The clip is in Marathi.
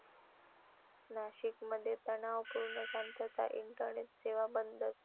नाशिकमध्ये तणावपूर्ण शांतता, इंटरनेट सेवा बंदच!